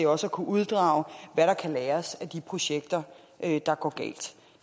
også at kunne uddrage hvad der kan læres af de projekter der går galt